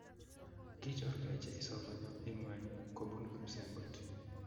Kichorkei Jesu konyo ingweny kobuni kipsengwet